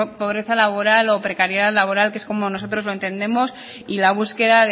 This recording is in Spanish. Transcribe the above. pobreza laboral o precariedad laboral que es como nosotros lo entendemos y la búsqueda